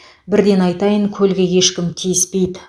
бірден айтайын көлге ешкім тиіспейді